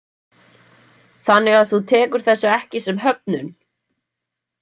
Þannig að þú tekur þessu ekki sem höfnun?